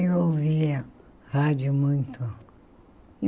Eu ouvia rádio muito.